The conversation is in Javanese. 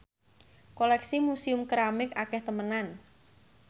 koleksi Museum Keramik akeh temenan